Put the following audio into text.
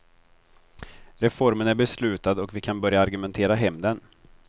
Reformen är beslutad och vi kan börja argumentera hem den.